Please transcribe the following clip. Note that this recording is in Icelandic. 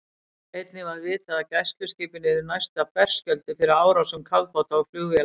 Einnig var vitað, að gæsluskipin yrðu næsta berskjölduð fyrir árásum kafbáta og flugvéla.